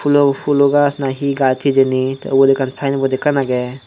pulo pulo gaj na gaj hejani te obot akkan sinebot akken agey.